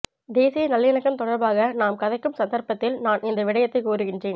தேசிய நல்லிணக்கம் தொடர்பாக நாம் கதைக்கும் சந்தர்ப்பத்தில் நான் இந்த விடயத்தைக் கூறுகின்றேன்